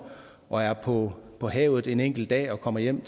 og er på på havet en enkelt dag og kommer hjem